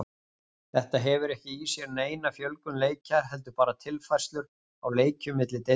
Þetta hefur ekki í sér neina fjölgun leikja heldur bara tilfærslur á leikjum milli deilda.